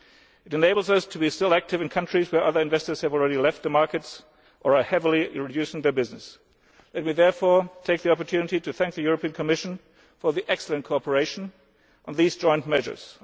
This enables us to be selective in countries where other investors have already left the markets or are heavily reducing their business. Let me therefore take the opportunity to thank the European Commission for its excellent cooperation on these joint measures.